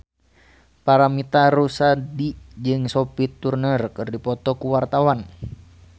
Paramitha Rusady jeung Sophie Turner keur dipoto ku wartawan